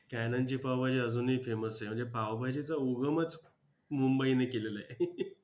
Canan ची पावभाजी अजूनही famous आहे म्हणजे पावभाजीचा उगमच मुंबईने केलेला आहे.